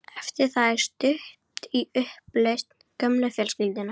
Eftir það er stutt í upplausn gömlu fjölskyldunnar.